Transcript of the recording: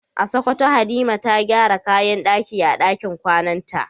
A Sokoto Halima ta gyara kayan daki a dakin kwananta.